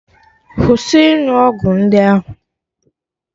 Kwụsị ịṅụ ọgwụ ndị ahụ!